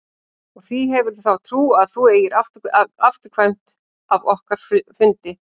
Og hví hefurðu þá trú að þú eigir afturkvæmt af okkar fundi?